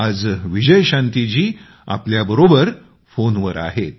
आज विजयशांतीजी आमच्याबरोबर फोनवर आहेत